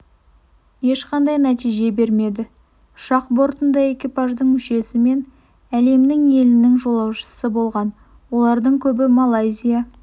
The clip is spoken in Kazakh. ешқандай нәтиже бермеді ұшақ бортында экипаждың мүшесі мен әлемнің елінің жолаушысы болған олардың көбі малайзия